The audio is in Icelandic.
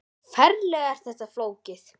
Ferlega er þetta flókið!